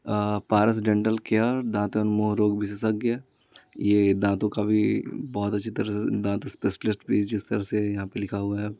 अ Paras dental care दांत एवं मुह रोग विशेषज्ञ ये दांतों का भी बहुत अच्छी तरह से दांत स्पेशलिस्ट भी जिस तरह से यहाँ पे लिखा हुआ है।